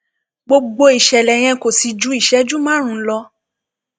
gbogbo ìṣẹlẹ yẹn kò sì ju ìṣẹjú márùnún lọ